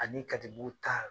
Ani katibugu ta